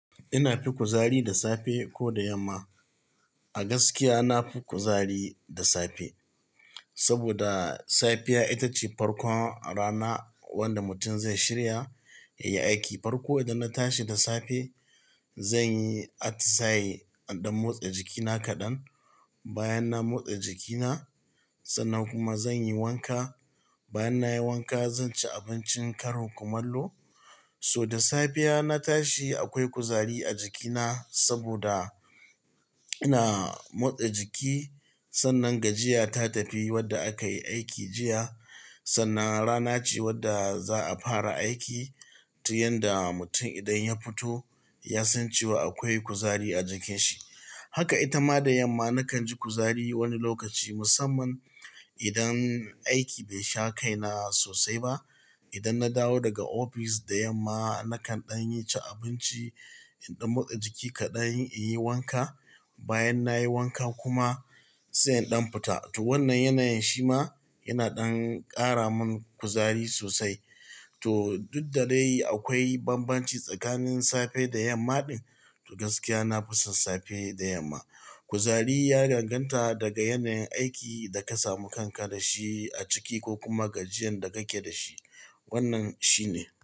Ina fi kuzari da safe ko da yamma? A gaskiya ina fi kuzari da sape, saboda sapiya ita ce parkon rana wanda mutum zai shirya ya yi aiki. Farko idan na tashi da sape, zan yi atisayi idan motsa jikina kaɗan. Bayan na motsa jikina, sannan kuma zan yi wanka. Bayan na yi wanka, zan ci abincin karin kumallo. So da sapiya na tashi akwai kuzari a jikina saboda. Ina motsa jiki. Sannan gajiya ta tafi wadda akayi aiki jiya. Sannan rana ce wadda za'a fara aiki. Tu yanda mutum idan ya fito ya san cewa akwai kuzari a jikin shi. Haka ita ma da yamma nakan ji kuzari wani lokaci musamman idan aiki bai sha kai na sosai ba. Idan na dawo daga ofis da yamma nakan ɗan yi cin abinci, ɗan motsa jiki kaɗan, in yi wanka. Bayan na yi wanka kuma sai in ɗan pita. To wannan yanayin shi ma yana ɗan ƙara mun kuzari sosai. To duk da dai akwai bambanci tsakanin sape da yamma ɗin. To gaskiya nafi son safe da yamma. Kuzari ya ganganta daga yanayin aiki da ka samu kanka da shi a ciki ko kuma gajiyan da kake da shi. Wannan shi ne.